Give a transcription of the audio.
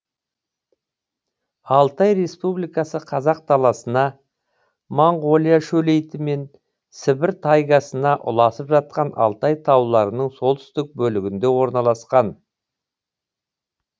алтай республикасы қазақ даласына моңғолия шөлейті мен сібір тайгасына ұласып жатқан алтай тауларының солтүстік бөлігінде орналасқан